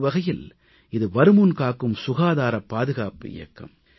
ஒரு வகையில் இது வருமுன் காக்கும் சுகாதாரப் பாதுகாப்பு இயக்கம்